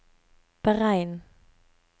beregn